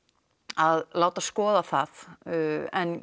að láta skoða það en